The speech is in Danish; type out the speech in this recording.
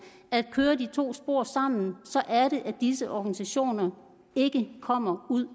at køre de to spor sammen så er det at disse organisationer ikke kommer ud